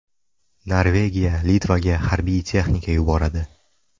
Norvegiya Litvaga harbiy texnika yuboradi.